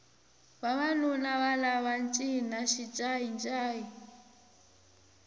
vavanuna lava va cina xincayi ncayi